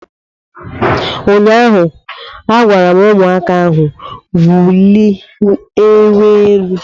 Ụnyaahụ agwara ụmụaka ahụ wuliewe elu!